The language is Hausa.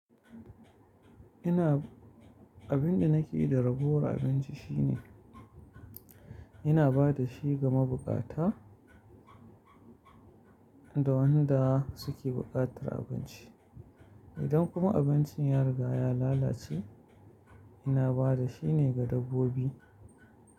Ina, abin da nake yi da ragowar abinci shine ina ba da shi ga mabukata da wanda suke buƙatar abinci. Idan kuma abincin ya riga ya lalace, ina ba da shi ne ga dabbobi.